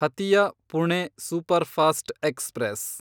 Hatia Pune superfast express